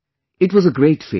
It was a great feeling